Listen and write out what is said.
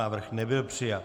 Návrh nebyl přijat.